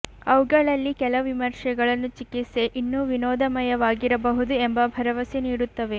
ಅವುಗಳಲ್ಲಿ ಕೆಲವು ವಿಮರ್ಶೆಗಳನ್ನು ಚಿಕಿತ್ಸೆ ಇನ್ನೂ ವಿನೋದಮಯವಾಗಿರಬಹುದು ಎಂಬ ಭರವಸೆ ನೀಡುತ್ತವೆ